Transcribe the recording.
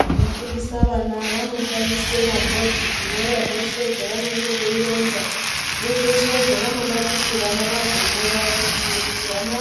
Vanofundisa vana vanoshandise mabhodhi kunyora zveshe zvanenge veironza nezveshe zvavanoda kuti vana vazonyora kuitire kuti vana